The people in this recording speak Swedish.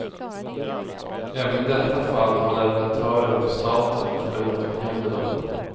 Även i detta fall har leverantörer och staten förlorat miljonbelopp.